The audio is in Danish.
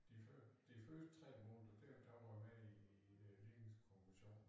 De før de første 3 måneder dér der var jeg med i øh ligningskommissionen